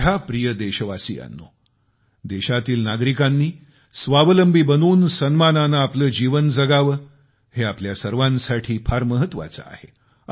माझ्या प्रिय देशवासियांनो देशातील नागरिकांनी स्वावलंबी बनून सन्मानाने आपले जीवन जगावे हे आपल्या सर्वांसाठी फार महत्वाचे आहे